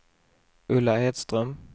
Ulla Edström